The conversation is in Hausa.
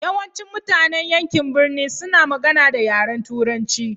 Yawancin mutanen yankin birni suna magana da yaren turanchi.